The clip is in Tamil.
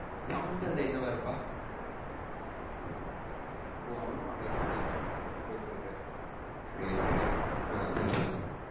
சமந்தா அதுல என்னவா இருப்பா? ஓ அவளும் வாடகைக்கு தாய்தான் ஒருத்தர்க்கு சேர் சேரி ஆஹ்ன் சொல் சொல் சொல்லு